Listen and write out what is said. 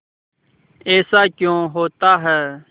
ऐसा क्यों होता है